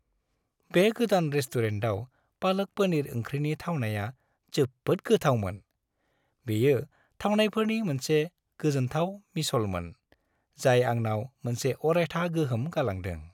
बे गोदान रेस्टुरेन्टआव पालक पनीर ओंख्रिनि थावनाया जोबोद गोथावमोन; बेयो थावनायफोरनि मोनसे गोजोनथाव मिसलमोन, जाय आंनाव मोनसे अरायथा गोहोम गालांदों।